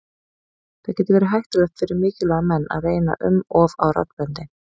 Það getur verið hættulegt fyrir mikilvæga menn að reyna um of á raddböndin.